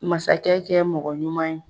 Masakɛ kɛ mɔgɔ ɲuman ye